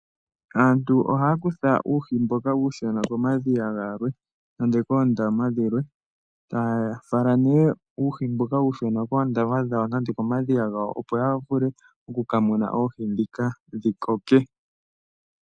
Aantu oha ya kutha uuhi mboka uushona komadhiya nenge koondama dhilwe, taye wu fala komadhiya nenge koondama dhawo, opo ya vule oku ka muna oohi ndhika dhi koke.